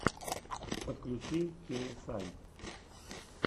подключи кей эс ай